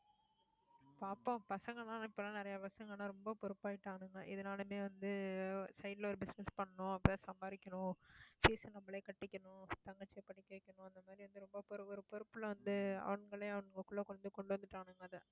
பாப்போம் பசங்க எல்லாம், இப்ப எல்லாம், நிறைய பசங்க எல்லாம் ரொம்ப பொறுப்பு ஆயிட்டானுங்க. இதனாலயுமே வந்து, side ல ஒரு business பண்ணணும் சம்பாரிக்கணும் fees அ நம்மளே கட்டிக்கணும், தங்கச்சியை படிக்க வைக்கணும் அந்த மாதிரி வந்து ரொம்ப பொறு~ பொறுப்புல வந்து அவனுங்களே அவங்களுக்குள்ள கொண்டு வந்து கொண்டு வந்துட்டானுங்க அதை